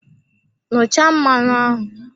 Nnụcha mmanụ ahụ!